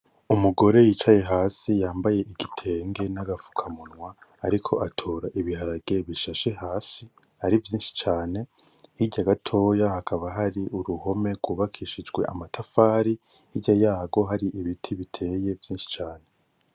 Umugore yicaye hasi yambaye igitenge n'agafukamunwa ariko atora ibiharage ibishashe hasi ari vyinshi cane, hirya gatoyi hakaba hari uruhome rwubakishije amatafari hirya yarwo ibiti biteye vyinshi cane.